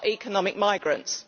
They are economic migrants.